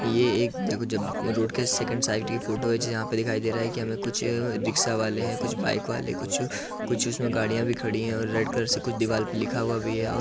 ये एक जब रोड के सेकेंड साइड की फोटो है जहां पे दिखाई दे रहा है कि हमें कुछ रिक्शा वाले हैं कुछ बाइक वाले हैं कुछ कुछ उसमें गाडियां भी खड़ी हैं और रेड कलर से कुछ दिवाल पे लिखा हुआ भी है और_ _